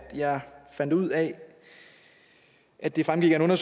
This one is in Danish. jeg fandt ud af at det fremgik af